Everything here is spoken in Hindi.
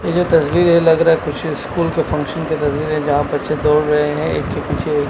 ये जो तस्वीर है लग रहा है कुछ स्कूल का फंक्शन का तस्वीर है जहां बच्चे दौड़ रहे हैं एक के पीछे एक--